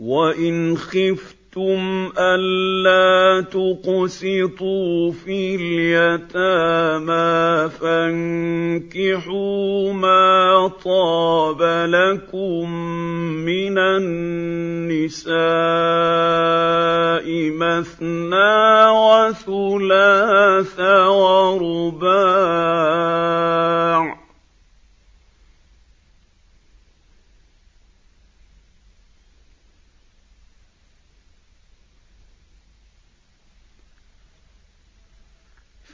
وَإِنْ خِفْتُمْ أَلَّا تُقْسِطُوا فِي الْيَتَامَىٰ فَانكِحُوا مَا طَابَ لَكُم مِّنَ النِّسَاءِ مَثْنَىٰ وَثُلَاثَ وَرُبَاعَ ۖ